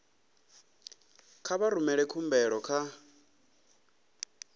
kha vha rumele khumbelo kha